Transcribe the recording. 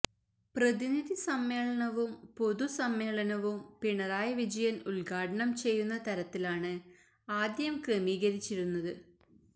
പ്രതിനിധി സമ്മേളനവും പൊതുസമ്മേളനവും പിണറായി വിജയന് ഉദ്ഘാടനം ചെയ്യുന്ന തരത്തിലാണ് ആദ്യം ക്രമീകരിച്ചിരുന്നത്